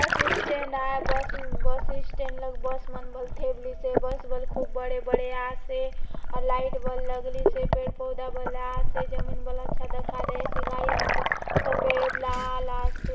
बस स्टैंड आय bus bus stand लगे बस मन बले थेबलिसे बस बले खूब बड़े _ बड़े आसे अउर लाइट बले लगलीसे पेड़ पौधा बले आसे जमीन बले अच्छा दखा देयसे गाड़ी मन बले सफ़ेद लाल आसे।